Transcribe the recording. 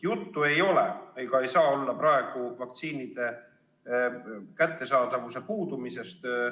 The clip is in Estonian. Praegu ei ole jutt vaktsiinide kättesaadavuse puudumisest.